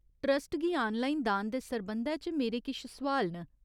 Trust गी online दान दे सरबंधै च मेरे किश सोआल न।